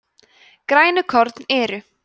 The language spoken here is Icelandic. grænukorn eru